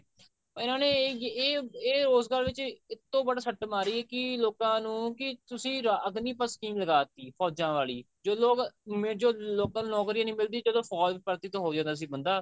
ਇਹਨਾ ਨੇ ਇਹ ਇਹ ਰੋਜ਼ਗਾਰ ਵਿੱਚ ਉੱਤੋ ਬੜਾ ਸੱਟ ਮਾਰੀ ਕਿ ਲੋਕਾਂ ਨੂੰ ਕਿ ਤੁਸੀਂ ਅਗਨੀਪਤ ਲਾਤੀ ਫੋਜਾਂ ਵਾਲੀ ਜੋ ਲੋਕ local ਨੋਕਰੀ ਨਹੀਂ ਮਿਲਦੀ ਜਦੋਂ ਫੋਜ ਵਿੱਚ ਭਰਤੀ ਹੋ ਜਾਂਦਾ ਸੀ ਬੰਦਾ